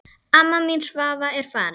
Amma mín Svava er farin.